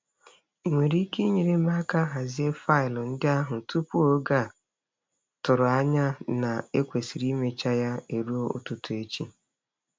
Ị nwere ike inyere m aka hazie faịlụ ndị ahụ tupu oge a tụrụ anya na e kwesịrị imecha ya eruo ụtụtụ echi?